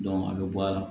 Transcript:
a bɛ bɔ a la